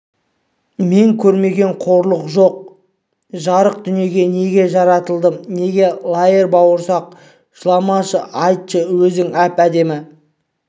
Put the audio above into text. мен көрмеген қорлық жоқ жарық дүниеге неге жаратылдым екен лаер бауырсақ бауырсақ жыламашы айтшы өзің әп-әдемі